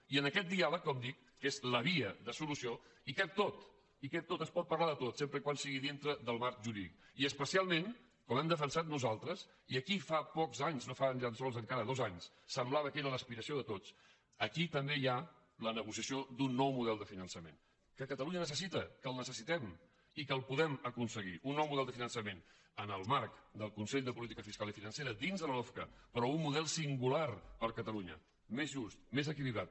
i en aquest diàleg com dic que és la via de solució hi cap tot hi cap tot es pot parlar de tot sempre que sigui dintre del marc jurídic i especialment com hem defensat nosaltres i aquí fa pocs anys no fa ni tan sols encara dos anys semblava que era l’aspiració de tots també hi ha la negociació d’un nou model de finançament que catalunya necessita que el necessi·tem i que el podem aconseguir un nou de model de fiançament en el marc del consell de política fiscal i financera dins de la lofca però un model singular per a catalunya més just més equilibrat